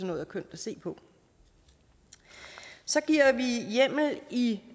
noget er kønt at se på så giver vi hjemmel i